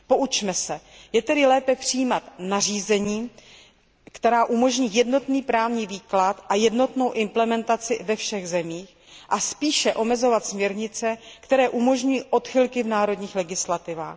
Poučme se, je tedy lépe přijímat nařízení, která umožní jednotný právní výklad a jednotnou implementaci ve všech zemích a spíše omezovat směrnice, které umožňují odchylky v národních legislativách?